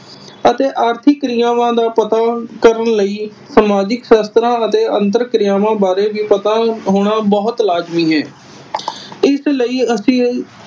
ਅਤੇ ਆਰਥਿਕ ਕ੍ਰਿਆਵਾਂ ਦਾ ਪਤਾ ਕਰਨ ਲਈ ਸਮਾਜਿਕ ਸਾਸ਼ਤਰਾਂ ਅਤੇ ਅੰਤਰ ਕ੍ਰਿਆਵਾਂ ਬਾਰੇ ਪਤਾ ਹੋਣਾ ਬਹੁਤ ਲਾਜਮੀ ਹੈ। ਇਸ ਲਈ ਅਸੀਂ